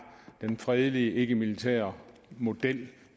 den fredelige ikkemilitære model